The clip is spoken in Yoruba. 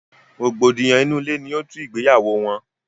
rògbòdìyàn inú ilé ni ó tú ìgbéyàwó wọn.